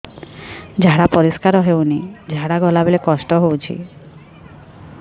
ଝାଡା ପରିସ୍କାର ହେଉନି ଝାଡ଼ା ଗଲା ବେଳେ କଷ୍ଟ ହେଉଚି